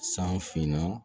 San finna